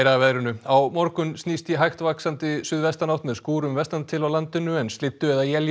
að veðri á morgun snýst í hægt vaxandi suðvestanátt með skúrum vestan til á landinu en slyddu eða éljum